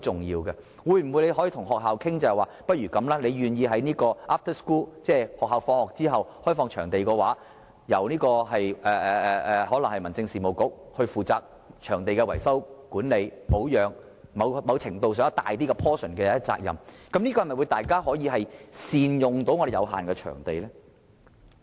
如果學校願意在下課後開放場地，可以由例如民政事務局負責場地的維修、管理、保養等，在某程上負一個較大比重的責任，這樣大家便可以更好地善用我們有限的場地。